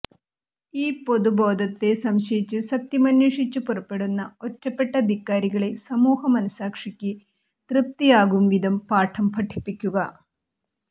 ഈ പൊതുബോധത്തെ സംശയിച്ച് സത്യമന്വേഷിച്ച് പുറപ്പെടുന്ന ഒറ്റപ്പെട്ട ധിക്കാരികളെ സമൂഹമനഃസാക്ഷിക്ക് തൃപ്തിയാകുംവിധം പാഠം പഠിപ്പിക്കുക